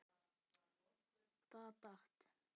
Það datt.